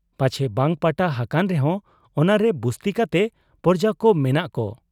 ᱯᱟᱪᱷᱮ ᱵᱟᱝ ᱯᱟᱴᱟ ᱦᱟᱠᱟᱱ ᱨᱮᱦᱚᱸ ᱚᱱᱟᱨᱮ ᱵᱩᱥᱛᱤ ᱠᱟᱛᱮ ᱯᱚᱨᱡᱟᱠᱚ ᱢᱮᱱᱟᱜ ᱠᱚ ?